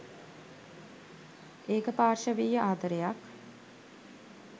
ඒකපාර්ශවීය ආදරයක්.